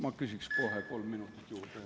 Ma küsin kohe kolm minutit juurde.